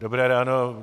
Dobré ráno.